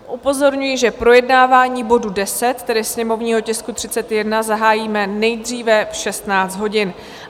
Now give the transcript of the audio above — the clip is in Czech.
Upozorňuji, že projednávání bodu 10, tedy sněmovního tisku 31, zahájíme nejdříve v 16 hodin.